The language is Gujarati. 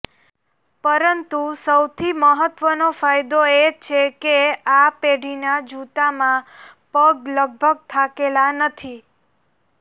પરંતુ સૌથી મહત્વનો ફાયદો એ છે કે આ પેઢીના જૂતામાં પગ લગભગ થાકેલા નથી